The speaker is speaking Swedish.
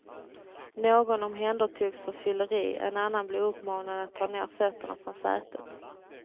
Någon omhändertogs för fylleri, en annan blev uppmanad att ta ned fötterna från sätet.